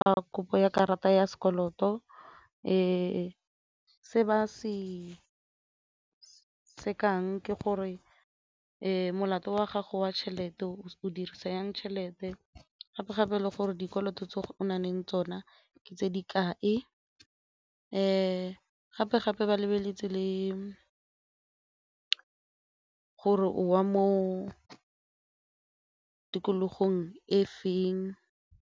A kopo ya karata ya sekoloto se se ba se se ke gore molato wa gago wa tšhelete o dirisa jang tšhelete gape-gape le gore dikoloto tse o na leng tsona ke tse di kae, gape-gape ba lebeletse le gore o mo tikologong e feng.